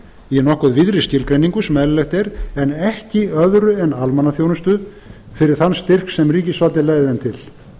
í nokkuð víðri skilgreiningu sem eðlilegt er en ekki öðru en almannaþjónustu fyrir þann styrk sem ríkisvaldið legði þeim til